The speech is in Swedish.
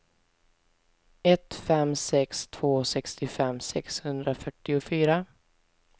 ett fem sex två sextiofem sexhundrafyrtiofyra